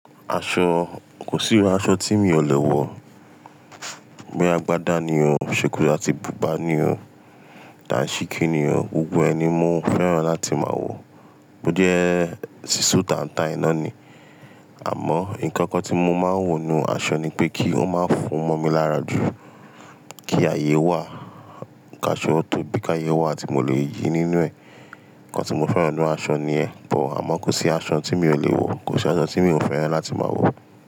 Aṣọ, kò sí iru aṣọ tí mi ò lè wọ̀. Boya Agbádá ni o, sokoto láti Bùbá ni ọ́, Dànṣíkí ni ọ́, gbogbo ẹ ni mó fẹ́ràn láti máa wọ̀. Ó jẹ́ sísu taǹtaǹ náà ni. Àmọ́ nǹkan kan tí mo máa ń wò nu aṣọ ni pé kí ó máa fún mo mi lára jù, kí ààyè wà káṣọ tó bí kí ààyè wà tí mo lè yìí nínú ẹ̀. Nkan tí mo fẹ́ràn nu aṣọ ni ẹ̀, bọ̀ àmọ́ kò sí aṣọ tí mi ò lè wọ̀, kò sí aṣọ tí mi ò fẹ́ràn láti máa wọ̀.